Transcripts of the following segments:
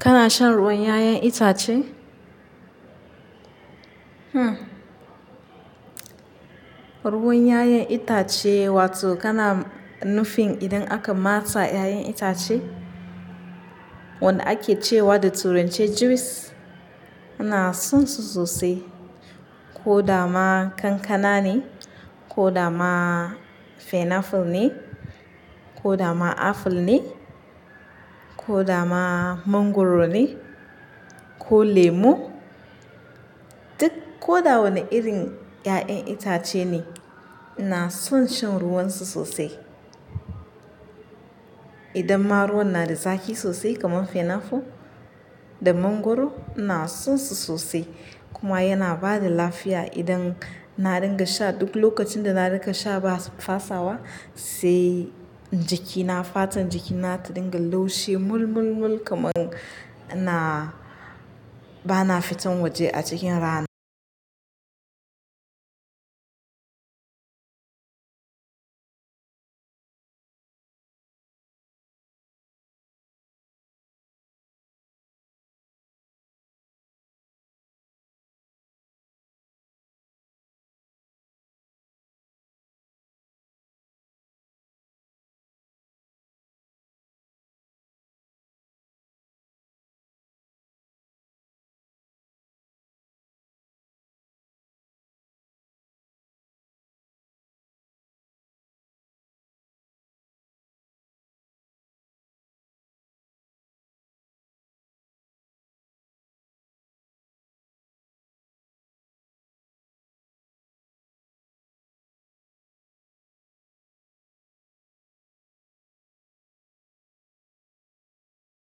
Kana shan ruwan 'ya'yan itace? Hmm ruwan yayan itace, wato kana nufin idan aka matsa yayan itace wanda ake cewa da turanci juice, ina son su sosai. Ko dama kankana ne, ko dama pineapple ne, ko dama apple ne, ko dama mangwaro ne ko lemu, duk ko da wane irin 'ya'yan itace ne, ina son shan ruwan su sosai. Idan ma ruwan na da zaki sosai kamar pineapple da mangwaro, ina son su sosai. Kuma yana bada lafiya idan na dinga sha. Duk lokacin da na rika sha ba fasawa, sai jikina, fatan jikina ta dinga laushe mul, mul, mul kamar na-- bana fitan waje a cikin rana.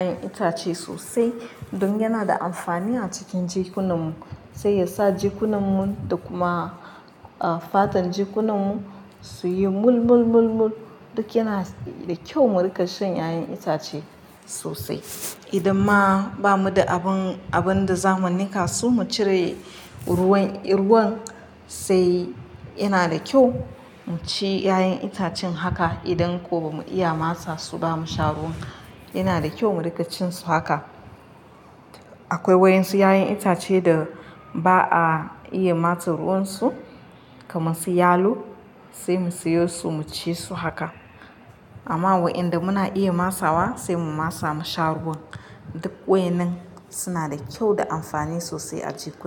'Ya'yan itace sosai don yana da amfani a cikin jikunanmu sai yasa jikunan mu da kuma ah, fatan jikunanmu su yi mul, mul, mul, mul. Duk yana da kyau mu rika shan 'ya'yan itace sosai, idan ma ba muda abunda zamu niƙasu mu cire ruwan, yana da kyau muci 'ya'yan itacen haka. Idan ko ba mu iya matsa su ba musha ruwan, yana da kyau mu rika cin su haka. Akwai wa ensu 'ya'yan itace da ba a iya matsa ruwan su kamar su yalo, sai mu siyo su mu ci su haka. Amma wa enda muna iya matsawa sai mu matsa musha ruwan duk wa ennan suna da kyau da amfani sosai a jikunan.